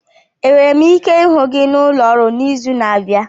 Enwere m ike ịhụ gị n'ụlọ ọrụ n'izu na-abịa?